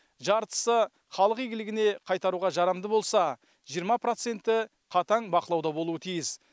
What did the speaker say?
жартысы халық игілігіне қайтаруға жарамды болса жиырма проценті қатаң бақылауда болуы тиіс